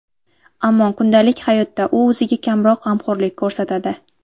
Ammo kundalik hayotda u o‘ziga kamroq g‘amxo‘rlik ko‘rsatadi.